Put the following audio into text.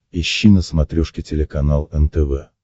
ищи на смотрешке телеканал нтв